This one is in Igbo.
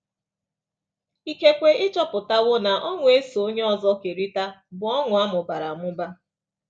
Ikekwe ị chọpụtawo na ọṅụ e so onye ọzọ kerịta bụ ọṅụ a mụbara amụba.